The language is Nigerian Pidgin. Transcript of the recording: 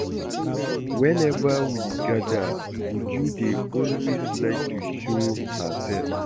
Whenever we gather Uju dey always like to show herself